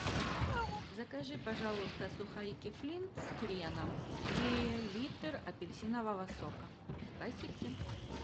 закажи пожалуйста сухарики флинт с хреном и литр апельсинового сока спасибки